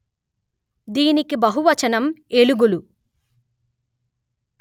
దీనికి బహువచనం ఎలుగులు